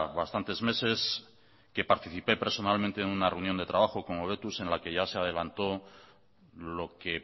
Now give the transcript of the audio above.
bastantes meses que participé personalmente en una reunión de trabajo con hobetuz en la que ya se adelantó lo que